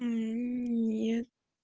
нет